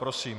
Prosím.